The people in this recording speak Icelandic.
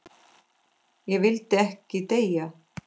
Ég vildi ekki deyja.